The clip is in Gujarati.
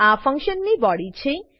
આ ફંક્શન ની બોડી છે